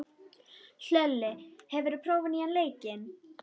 Hlölli, hefur þú prófað nýja leikinn?